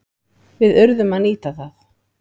Við urðum að nýta það.